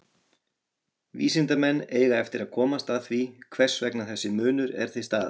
Vísindamenn eiga eftir að komast að því hvers vegna þessi munur er til staðar.